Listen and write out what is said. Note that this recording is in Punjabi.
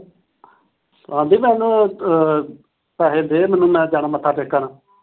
ਸੋਨਾਲੀ, ਮੈਨੂੰ ਉਹ ਪੈਸੇ ਦੇ ਮੈਨੂੰ। ਮੈਂ ਜਾਣਾ ਮੱਥਾ ਟੇਕਣ।